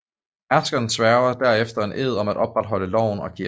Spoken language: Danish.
Herskeren sværger derefter en ed om at opretholde loven og kirken